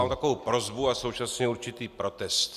Mám takovou prosbu a současně určitý protest.